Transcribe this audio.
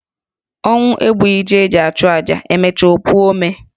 Ọnwụ egbuchughi ji eji chụọ aja, e mecha o puo ome.